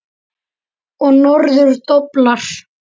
Og norður doblar.